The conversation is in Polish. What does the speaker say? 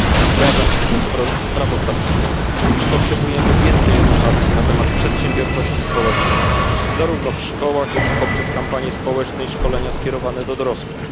Zgadzam się ze sprawozdawczynią, iż potrzebujemy więcej edukacji na temat przedsiębiorczości społecznej zarówno w szkołach, jak i poprzez kampanie społeczne i szkolenia skierowane do dorosłych.